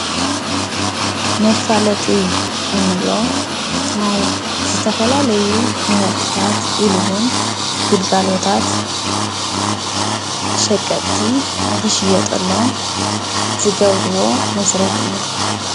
መፋለጢ እንብሎ ናይ ዝተፈላለዩ ምህርትታት ኢሉ ውን ግልጋሎታት ሸቀጥቲ ንኽሽየጠሎም ዝገብርዎ መስርሕ እዩ፡፡